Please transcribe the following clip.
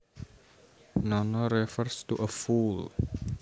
Nana refers to a fool